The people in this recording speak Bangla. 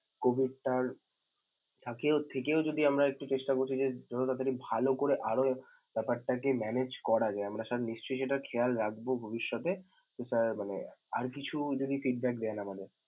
COVID টার আরকি~ থেকেও যদি আমরা একটু চেষ্টা করছি যে যত তাড়াতাড়ি ভাল করে আরো ব্যপারটাকে manage করা যায় আমরা sir নিশ্চয়ই সেটা খেয়াল রাখব ভবিষ্যতে তো sir মানে আর কিছু যদি feedback দেন আমাদের।